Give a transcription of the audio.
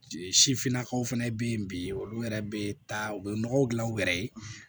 Sifinnakaw fana bɛ yen bi olu yɛrɛ bɛ taa u bɛ nɔgɔ dilan u yɛrɛ ye